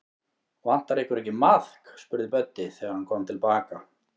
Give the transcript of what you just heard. Vantar ykkur ekki maðk? spurði Böddi, þegar hann kom til baka.